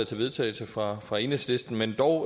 til vedtagelse fra fra enhedslisten men dog